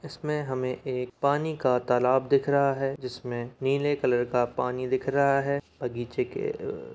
इसमे हमे एक पानी का तालाब दिख रहा है जिसमे नीले कलर का पानी दिख रहा है बगीचे के--